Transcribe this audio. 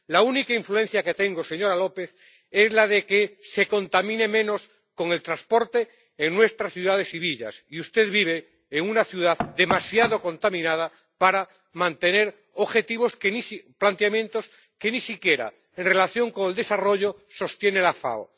La única influencia que tengo, señora López, es la de la idea de que se contamine menos con el transporte en nuestras ciudades y villas, y usted vive en una ciudad demasiado contaminada como para mantener planteamientos que, ni siquiera en relación con el desarrollo, sostiene la FAO.